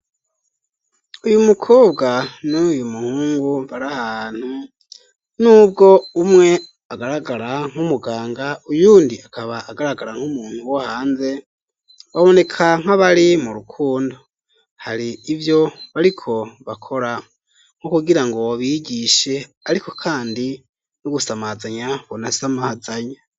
Uyu mukobwa n'uyu muhungu bari ahantu nubwo umwe agaragara nk'umuganga uyundi akaba agaragara nk'umuntu wo hanze baboneka nkabari mu rukundo hari ivyo bariko bakora nko kugira ngo bigishe ariko kandi no gusamazanya bonasamazanya.